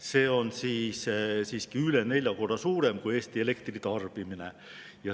See on üle nelja korra suurem kui Eesti elektritarbimine.